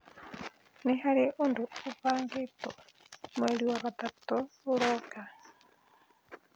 nĩ harĩ ũndũ ũbangĩtwo mweri wa gatatũ ũroka